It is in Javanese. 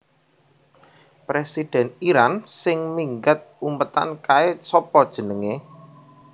Presiden Iran sing minggat umpetan kae sopo jenenge